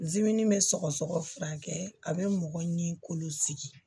bɛ sɔgɔsɔgɔ furakɛ a bɛ mɔgɔ ɲini k'olu sigi